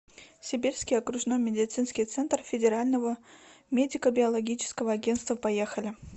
сибирский окружной медицинский центр федерального медико биологического агентства поехали